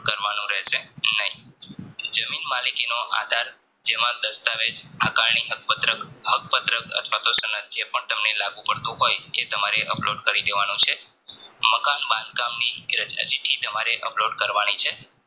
જમીન માલિકીનો આધાર જેમાં દાસ્તાં વેજ હક પત્રક અથવાતો પણ લાગુ પડતું હોય એ તમારે upload કરી દેવાનું છે મકાન બંધ કામ ની રજા ચીઠી તમારે upload કરવાની છે